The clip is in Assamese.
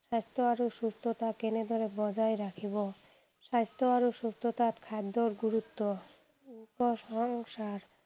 স্বাস্থ্য আৰু সুস্থতা কেনেদৰে বজাই ৰাখিব, স্বাস্থ্য আৰু সুস্থতাত খাদ্যৰ গুৰুত্ব, প্ৰশংসা